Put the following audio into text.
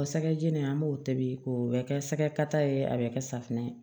O sɛgɛjeni an b'o tobi k'o bɛ kɛ sɛgɛ kata ye a bɛ kɛ safunɛ ye